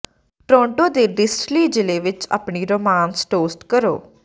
Toronto ਦੇ distillery ਜ਼ਿਲ੍ਹੇ ਵਿਚ ਆਪਣੀ ਰੋਮਾਂਸ ਟੋਸਟ ਕਰੋ